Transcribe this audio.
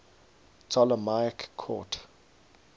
ptolemaic court